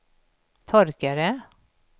torkare